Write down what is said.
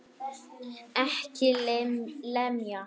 EKKI LEMJA!